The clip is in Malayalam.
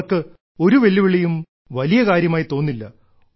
അവർക്ക് ഒരു വെല്ലുവിളിയും വലിയ കാര്യമായി തോന്നില്ല